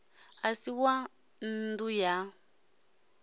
a si wa nnḓu ya